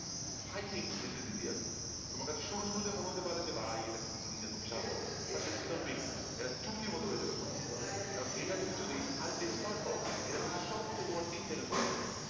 I think this is a there তোমার কাছে শুরু শুরু তে মনে হতে পারে যে ভাই এটা কি জিনিস এ তো বিশাল বড়ো but this is not big এটা চুটকির মতো হয়ে যাবে পুরা কারণ এটা তুমি যদি আরেকটু expert হও এটা করতে সর্বোচ্ছ তোমার তিন second সময় লাগবে